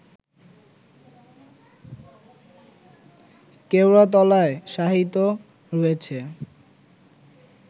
কেওড়াতলায় শায়িত রয়েছে